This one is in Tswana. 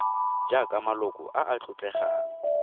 jaaka maloko a a tlotlegang